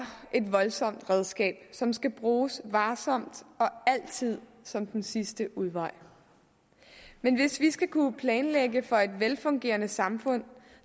et voldsomt redskab som skal bruges varsomt og altid som den sidste udvej men hvis vi skal kunne planlægge for et velfungerende samfund